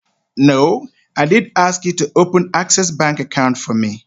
No, I did ask you to open access bank account for me.